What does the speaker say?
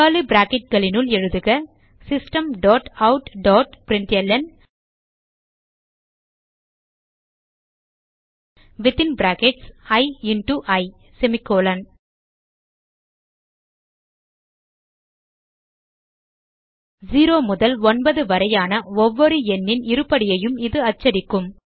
curly bracketகளினுள் எழுதுக system dot out dot println within brackets i into i 0 முதல் 9 வரையான ஒவ்வொரு எண்ணின் இருபடியையும் இது அச்சடிக்கும்